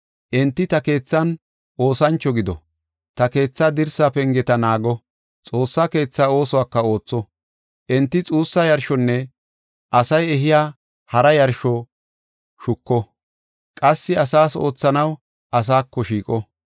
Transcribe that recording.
Enti ta keethan oosancho gido; ta keetha dirsa pengeta naago; Xoossa keethaa oosuwaka ootho. Enti xuussa yarshonne asay ehiya hara yarsho shuko; qassi asaas oothanaw asaako shiiqo.